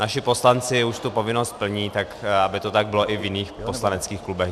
Naši poslanci už tu povinnost plní, tak aby to tak bylo i v jiných poslaneckých klubech.